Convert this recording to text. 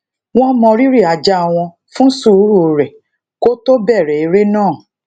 wón mo riri aja won fun sùúrù re kó tó bèrè eré náà